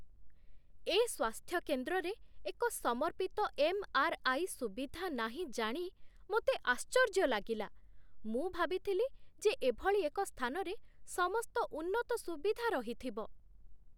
ଏ ସ୍ୱାସ୍ଥ୍ୟକେନ୍ଦ୍ରରେ ଏକ ସମର୍ପିତ ଏମ୍.ଆର୍.ଆଇ. ସୁବିଧା ନାହିଁ ଜାଣି ମୋତେ ଆଶ୍ଚର୍ଯ୍ୟ ଲାଗିଲା। ମୁଁ ଭାବିଥିଲି ଯେ ଏଭଳି ଏକ ସ୍ଥାନରେ ସମସ୍ତ ଉନ୍ନତ ସୁବିଧା ରହିଥିବ।